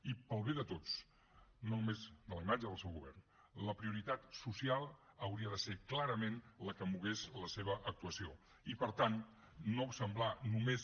i pel bé de tots no només de la imatge del seu govern la prioritat social hauria de ser clarament la que mogués la seva actuació i per tant no semblar només